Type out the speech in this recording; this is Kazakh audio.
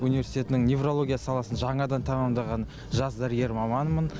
университетінің неврология саласын жаңадан тәмамдаған жас дәрігер маманмын